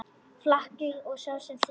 Flakaði og sá um þrif.